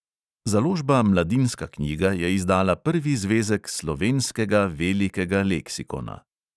Založba mladinska knjiga je izdala prvi zvezek slovenskega velikega leksikona.